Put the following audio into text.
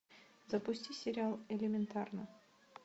запусти сериал элементарно